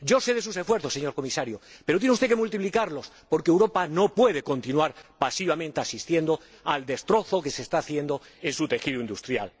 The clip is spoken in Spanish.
Yo sé de sus esfuerzos, señor Comisario, pero tiene usted que multiplicarlos, porque Europa no puede continuar asistiendo pasivamente al destrozo que se está haciendo en su tejido industrial.